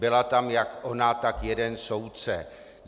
Byla tam jak ona, tak jeden soudce.